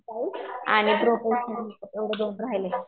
Hair style आणि professional एवढं दोन राहिलंय.